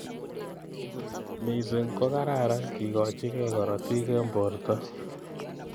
Missing ko kararan kikochikei karotik eng borto.